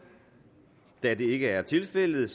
da det ikke er tilfældet